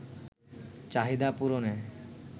চাহিদা পূরণে